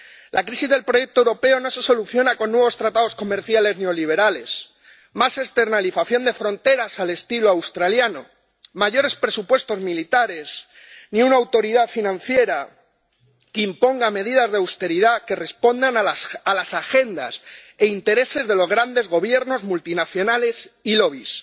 La crisis del proyecto europeo no se soluciona con nuevos tratados comerciales neoliberales, más externalización de fronteras al estilo australiano, mayores presupuestos militares, ni con una autoridad financiera que imponga medidas de austeridad que respondan a las agendas e intereses de los grandes gobiernos multinacionales y lobbies